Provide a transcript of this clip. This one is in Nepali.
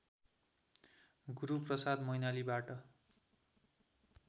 गुरूप्रसाद मैनालीबाट